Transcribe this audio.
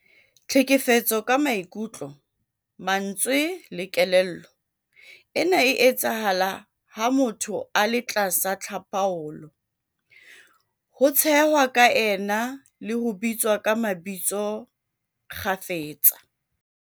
Tlhekefetso ka maikutlo, mantswe le kelello- Ena e etsahala ha motho a le tlasa tlhapaolo, ho tshehwa ka ena le ho bitswa ka mabitso kgafetsa.